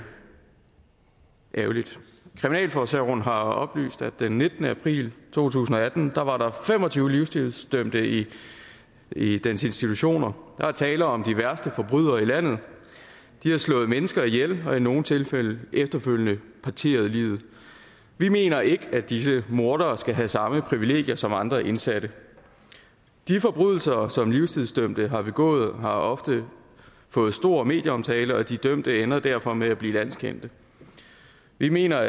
ærgerligt kriminalforsorgen har oplyst at der den nittende april to tusind og atten var fem og tyve livstidsdømte i i dens institutioner der er tale om de værste forbrydere i landet de har slået mennesker ihjel og i nogle tilfælde efterfølgende parteret liget vi mener ikke at disse mordere skal have samme privilegier som andre indsatte de forbrydelser som livstidsdømte har begået har ofte fået stor medieomtale og de dømte ender derfor med at blive landskendte vi mener